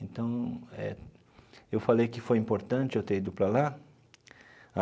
Então eh, eu falei que foi importante eu ter ido para lá.